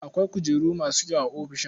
Akwai kujeru masu kyau a ofishin.